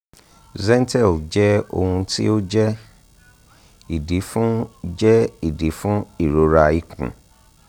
zentel jẹ ohun ti o jẹ idi fun jẹ idi fun irora ikun